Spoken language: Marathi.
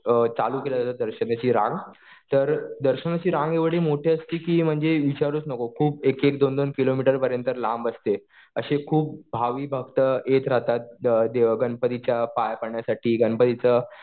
चालू केल्या जाते दर्शनाची रांग. तर दर्शनाची रांग एवढी मोठी असते कि म्हणजे विचारूच नको. खूप एक-एक, दोन-दोन किलोमीटर पर्यंत लांब असते. असे खूप भाविभक्त येत राहतात गणपतीच्या पाया पडण्यासाठी, गणपतीचं